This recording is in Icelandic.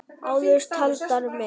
Áður taldar með